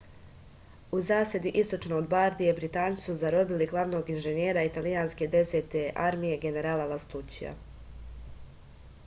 u zasedi istočno od bardije britanci su zarobili glavnog inženjera italijanske desete armije generala lastućija